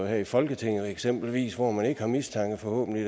her i folketinget eksempelvis hvor man ikke har mistanke forhåbentlig